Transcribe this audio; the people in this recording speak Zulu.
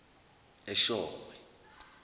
eshowe